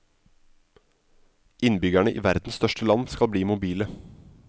Innbyggerne i verdens største land skal bli mobile.